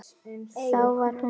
Þá var hún hrærð.